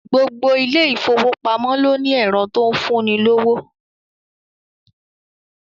Gbogbo ilé ìfowópamọ́ ló ní ẹ̀rọ tó ń fún ni lówó